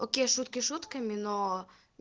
окей шутки шутками но